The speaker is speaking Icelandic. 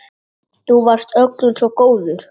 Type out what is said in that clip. Þú varst öllum svo góður.